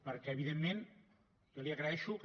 perquè evidentment jo li agraeixo que